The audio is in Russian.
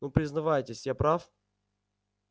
ну признавайтесь я прав